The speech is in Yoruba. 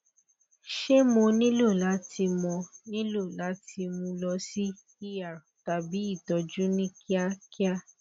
ṣe mo nilo lati mo nilo lati mu lọ si er tabi itọju ni kiakia